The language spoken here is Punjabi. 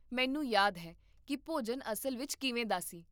ਮੈਨੂੰ ਯਾਦ ਹੈ ਕਿ ਭੋਜਨ ਅਸਲ ਵਿੱਚ ਕਿਵੇਂ ਦਾ ਸੀ